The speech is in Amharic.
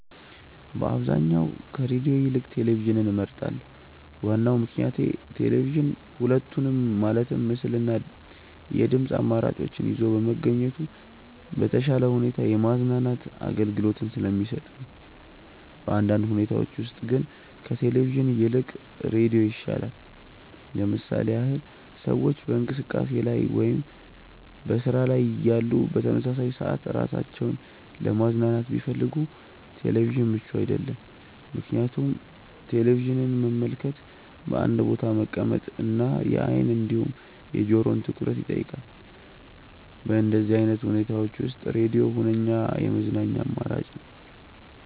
በአብዛኛው ከሬድዮ ይልቅ ቴሌቪዥንን እመርጣለሁ። ዋናው ምክንያቴ ቴሌቪዥን ሁለቱንም ማለትም ምስል እና የድምጽ አማራጮችን ይዞ በመገኘቱ በተሻለ ሁኔታ የማዝናናት አገልግሎትን ስለሚሰጥ ነው። በአንዳንድ ሁኔታዎች ውስጥ ግን ከቴሌቪዥን ይልቅ ሬዲዮ ይሻላል። ለምሳሌ ያህል ሰዎች በእንቅስቃሴ ላይ ወይም በስራ ላይ እያሉ በተመሳሳይ ሰዓት ራሳቸውን ለማዝናናት ቢፈልጉ ቴሌቪዥን ምቹ አይደለም፤ ምክንያቱም ቴሌቪዥንን መመልከት በአንድ ቦታ መቀመጥ እና የአይን እንዲሁም የጆሮውን ትኩረት ይጠይቃል። በእንደዚህ አይነት ሁኔታዎች ውስጥ ሬድዮ ሁነኛ የመዝናኛ አማራጭ ነው።